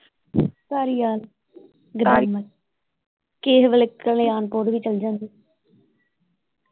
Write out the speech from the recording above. ਧਾਰੀਵਾਲ ਕਿਹੇ ਵੇਲੇ ਕਲਿਆਣ ਕੋਟ ਵੀ ਚੱਲ ਜਾਂਦੇ